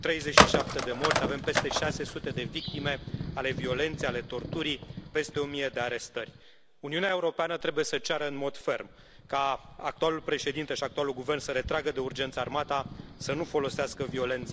37 de morți, avem peste 600 de victime ale violenței, ale torturii, peste o mie de arestări. Uniunea Europeană trebuie să ceară în mod ferm ca actualul președinte și actualul guvern să retragă de urgență armata, să nu folosească violența.